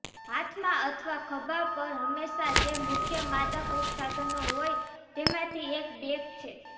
હાથમાં અથવા ખભા પર હંમેશા જે મુખ્ય માદક ઉપસાધનો હોય તેમાંથી એક બેગ છે